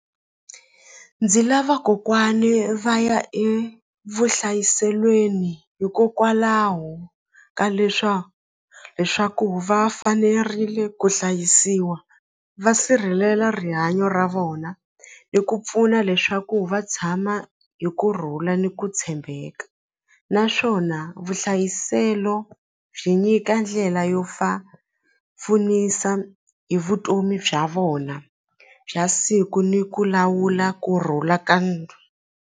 Ndzi lava kokwani va ya evuhlayiselweni hikokwalaho ka leswaku va fanerile ku hlayisiwa va sirhelela rihanyo ra vona ni ku pfuna leswaku va tshama hi kurhula ni ku tshembeka naswona vuhlayiselo byi nyika ndlela yo pfunisa hi vutomi bya vona bya siku ni ku lawula kurhula ka.